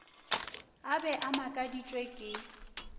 a be a makaditšwe ke